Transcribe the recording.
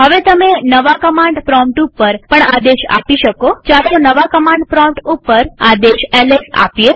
હવે તમે નવા કમાંડ પ્રોમ્પ્ટ ઉપર પણ આદેશ આપી શકોચાલો નવા કમાંડ પ્રોમ્પ્ટ ઉપર આદેશ એલએસ આપીએ